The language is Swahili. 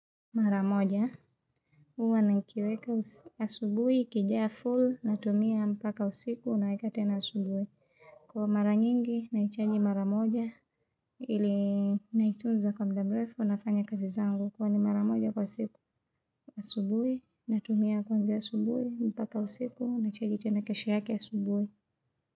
Mara moja. Uwa nikiweka asubui, ikijaa full, natumia mpaka usiku, na wekat ena asubuhi. Kwa mara nyingi, naichaji mara moja, ili naitunza kwa muda mrefu, nafanya kazi zangu. Kwa ni mara moja kwa siku, asubuhi, natumia kwanza asubui, mpaka usiku, naichagi tuna kashi haki asubui.